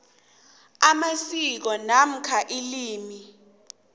amasiko namkha ilimi